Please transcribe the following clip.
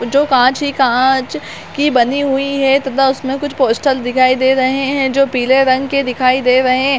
जो काँच ही काँच की बानी हुई है तथा उसमे कुछ पोस्टर दिखाई दे रहे है जो पिले रंग के दिखाई दे रहे है।